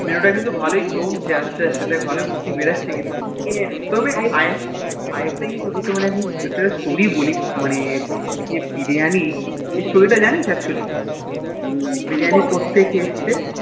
Mneu তা কিন্তু ভালোই জমছে আস্তে আস্তে দেখ ভালোই বুদ্ধি বেরোহে কিন্তু তবে এ একটা জিনিস তোকে একটা Story বলি মানে যে বিরিয়ানি এই Story তা জানিস Actually এই Biriyani কথা থেকে এসেছে